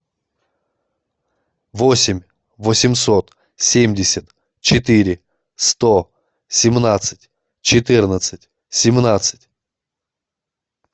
восемь восемьсот семьдесят четыре сто семнадцать четырнадцать семнадцать